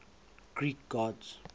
greek gods